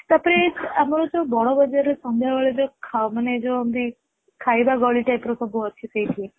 ତା ପରେ ଆମର ବଡ ବଜାର ରେ ସନ୍ଧ୍ୟା ବେଳେ ଯୋଉ ଖାଉ ତା ପରେ ଯାଉ ଏମିତି ଖାଇବା ଗଳି type ର ଅଛି ସେଇଠି